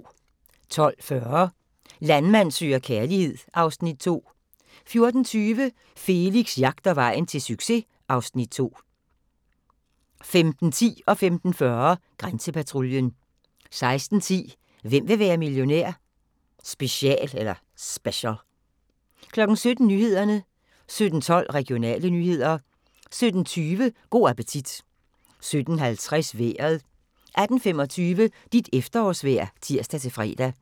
12:40: Landmand søger kærlighed (Afs. 2) 14:20: Felix jagter vejen til succes (Afs. 2) 15:10: Grænsepatruljen 15:40: Grænsepatruljen 16:10: Hvem vil være millionær? Special 17:00: Nyhederne 17:12: Regionale nyheder 17:20: Go' appetit 17:50: Vejret 18:25: Dit efterårsvejr (tir-fre)